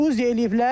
UZ eləyiblər.